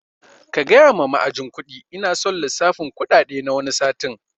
Kagaya ma ma'ajin kuɗi ina son lissafin kuɗaɗe na wani satin